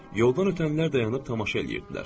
Yoldan ötənlər dayanıb tamaşa eləyirdilər.